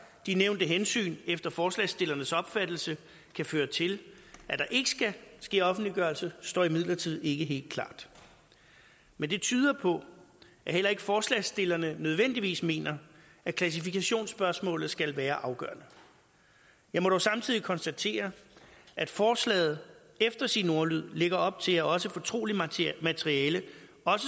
de nævnte hensyn efter forslagsstillernes opfattelse kan føre til at der ikke skal ske offentliggørelse står imidlertid ikke helt klart men det tyder på at heller ikke forslagsstillerne nødvendigvis mener at klassifikationsspørgsmålet skal være afgørende jeg må dog samtidig konstatere at forslaget efter sin ordlyd lægger op til at også fortroligt materiale